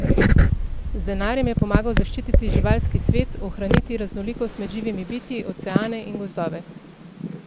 Z denarjem je pomagal zaščititi živalski svet, ohraniti raznolikost med živimi bitji, oceane in gozdove.